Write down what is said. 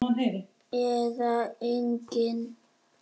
Eða engin?